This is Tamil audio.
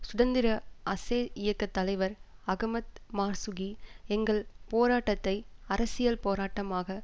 சுதந்திர அசே இயக்க தலைவர் அகமத் மார்சுகி எங்கள் போராட்டத்தை அரசியல் போராட்டமாக